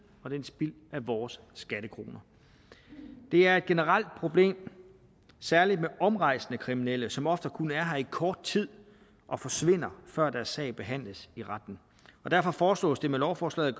og det er spild af vores skattekroner det er et generelt problem særlig med omrejsende kriminelle som ofte kun er her i kort tid og forsvinder før deres sag behandles i retten derfor foreslås det med lovforslaget